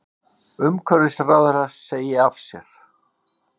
Umhverfisráðherra segi af sér